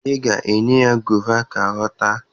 Ị ga-enye ya gova ka ọ taa